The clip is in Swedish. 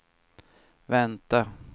vänta